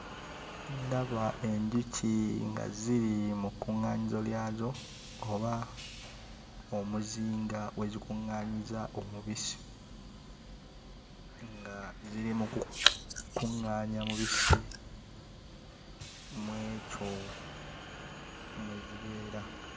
Ndaba enjuki nga ziri mu kuŋŋaanyizo lyazo oba omuzinga we zikuŋŋaanyiza omubisi, nga ziri mu kukuŋŋanya mubisi mu ekyo mwe zibeera.